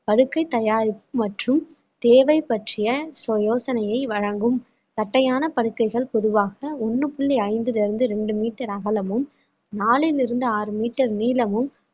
படுக்கை தயாரிப்பு மற்றும் தேவை பற்றிய யோசனையை வழங்கும் தட்டையான படுக்கைகள் பொதுவாக ஒண்ணு புள்ளி ஐந்திலிருந்து ரெண்டு metre அகலமும் நாலில் இருந்து ஆறு metre நீளமும்